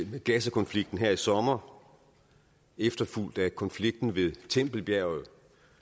havde gazakonflikten her i sommer efterfulgt af konflikten ved tempelbjerget